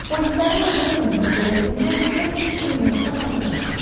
Polislərin olduğu evin pəncərəsindən qəfil pulyotdan atəş açıldı.